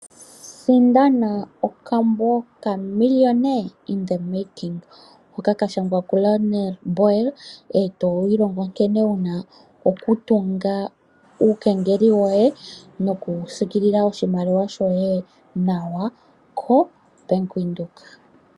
Sindana okambo ka "Millionaire in the Making" hoka ka shangwa ku Laurens Boel, e to ilongo nkene wu na okutunga uukengeli wo ye, no ku siikilila oshimaliwa shoye nawa koBank Windhoek.